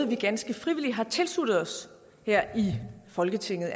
vi ganske frivilligt har tilsluttet os her i folketinget